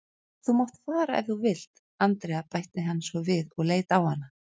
Þú mátt fara ef þú vilt, Andrea bætti hann svo við og leit á hana.